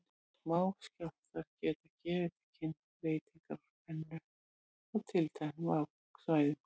Smáskjálftar geta gefið til kynna breytingar á spennu á tilteknum svæðum.